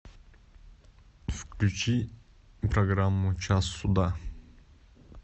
включи программу час суда